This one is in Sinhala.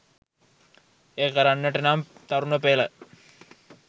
එය කරන්නට නම් තරුණ පෙළ